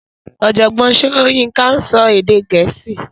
Ọ̀jọ̀gbọ́n Soyinka ń sọ èdè Gẹ̀ẹ́sì